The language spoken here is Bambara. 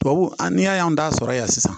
Tubabu n'i y'a y'an da sɔrɔ yan sisan